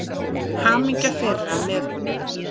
Hamingja þeirra með honum.